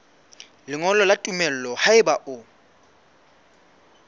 lengolo la tumello haeba o